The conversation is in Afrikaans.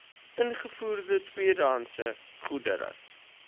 ingevoerde tweedehandse goedere